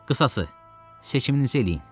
Qısası, seçiminizi eləyin.